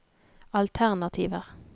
alternativer